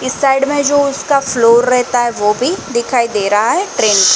इस साइड में जो इसका फ्लोर रहता है वो भी दिखाई दे रहा है ट्रेन --